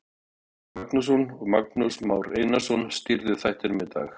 Elvar Geir Magnússon og Magnús Már Einarsson stýrðu þættinum í dag.